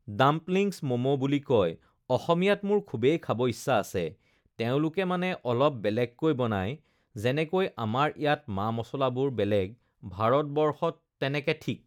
dumplings momo বুলি কয় অসমীয়াত মোৰ খুবেই খাব ইচ্ছা আছে তেওঁলোকে মানে অলপ বেলেগেকৈ বনায় যেনেকৈ আমাৰ ইয়াতে মা-মছলাবোৰ বেলেগ ভাৰতবৰ্ষত তেনেকে ঠিক